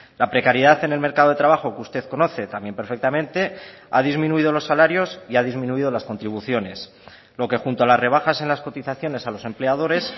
la precariedad en el mercado de trabajo que usted conoce también perfectamente ha disminuido los salarios y ha disminuido las contribuciones lo que junto a las rebajas en las cotizaciones a los empleadores